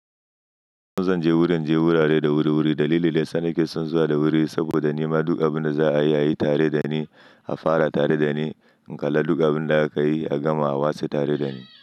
In zan je wurin je wurare da wuri-wuri dalili da yasa nake son zuwa da wuri saboda nima duk abin da za a yi ayi tare dani, afara tare dani, in kalla duk abin da aka yi a gama a wase tare dani.